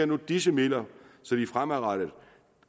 nu disse midler så de fremadrettet